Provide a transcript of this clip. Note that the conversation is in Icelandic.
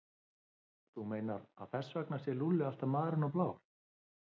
Þú meinar að þess vegna sé Lúlli alltaf marinn og blár?